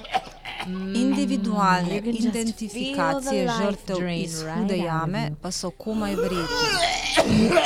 Individualne identifikacije žrtev iz Hude jame pa so komaj verjetne.